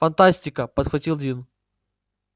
фантастика подхватил дин